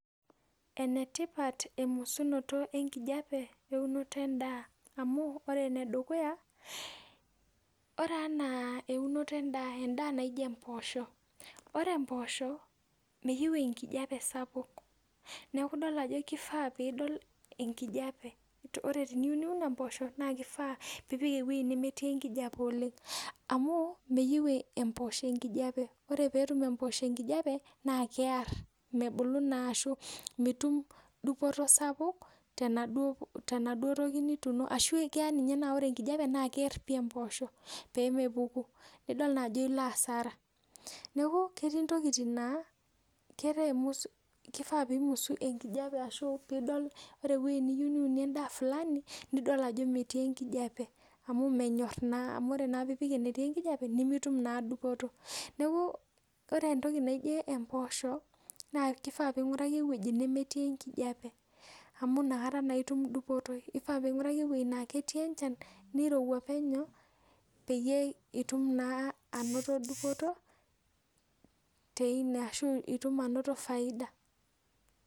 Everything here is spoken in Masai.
Enetipat emusunoto enkijape eunoto endaa amu ore emedukuya ore mpoosho nemeyieu enkijape ore piyieu niun mpoosho na ipik ewoi nemetii enkijape oleng ore petum empoosho enkijape na mebulu kear ashu mitum dupoto sapuk temaduo toki nituuno ashu kear nemebulu nidol naa ajo nilo asara neaku ketii ntokitin nakifaa pimus enkijape ore ewoi niyieu niunie endaa fulani nidol ajo metii enkijape menyor naa amu ore pipik enetii enkijape nemetum naa dupoto neaku ore entoki naijo mpoosho na ipik ewoi nemetii enkijape ewoi nemetii enchan nirowua penyo peyie itum ainoto bioto ashu itum ainoto faida